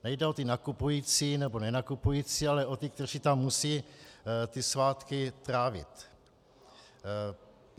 Nejde o ty nakupující nebo nenakupující, ale o ty, kteří tam musí ty svátky trávit.